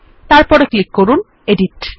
তারপর ক্লিক করুন এডিট